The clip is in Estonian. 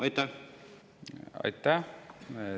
Aitäh!